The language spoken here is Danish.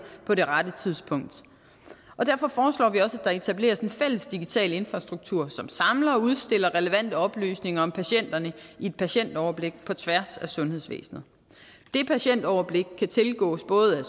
på det rette tidspunkt derfor foreslår vi også at der etableres en fælles digital infrastruktur som samler og udstiller relevante oplysninger om patienterne i et patientoverblik på tværs af sundhedsvæsenet det patientoverblik kan tilgås både af